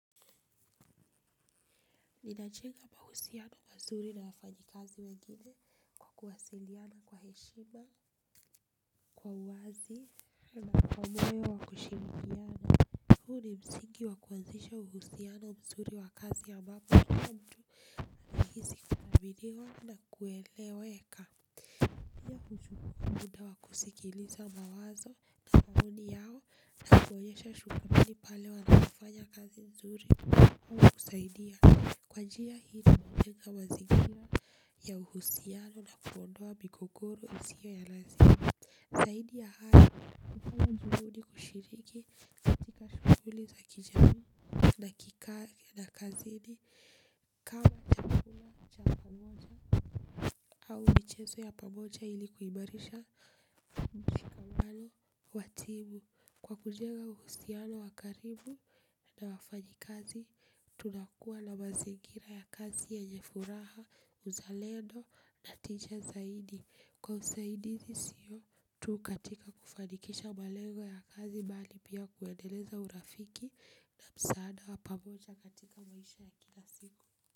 Ninajenga mahusiano mazuri na wafanyikazi kazi wengine, kwa kuwasiliana kwa heshima, kwa wazi. Na kwa moyo wa kushirikiana. Huu ni msingi wa kuanzisha uhusiano mzuri wa kazi ambapo mtu na anahisi kaminiwa na kueleweka. Pia uchukua muda wa kusikiliza mawazo, kanuni yao na kuonyesha shughuli pale wanafanya kazi mzuri au kusaidia. Kwa njia hili tunajenga mazingira ya uhusiano na kuondoa migogoro usiyo ya lazima. Zaidi ya hayo, kwa hakuna juhudi kushiriki. Katika shuguli za kijamii na kazini. Kama chakula cha pamoja au michezo ya pamoja ili kuimarisha mchumali wa timu. Kwa kujenga uhusiano wa karibu na wafanyikazi tunakuwa na mazingira ya kazi yanye furaha, uzalendo, na tija zaidi. Kwa usaidizi sio, tu katika kufanikisha malengo ya kazi bali pia kuendeleza urafiki na msaada wa pamoja katika maisha ya kila siku.